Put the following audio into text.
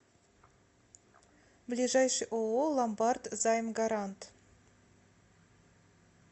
ближайший ооо ломбард займгарант